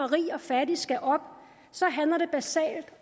rige og fattige skal op så handler det basalt